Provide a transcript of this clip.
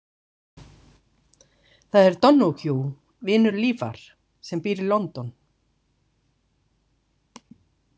Það er Donoghue, vinur Lífar, sem býr í London.